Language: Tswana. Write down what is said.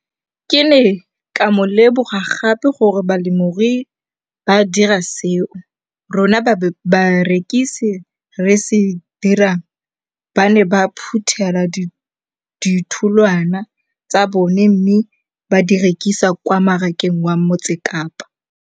Ke ne ka lemoga gape gore balemirui ba dira seo rona barekisi re se dirang - ba ne ba phuthela ditholwana tsa bona mme ba di rekisa kwa marakeng wa Motsekapa.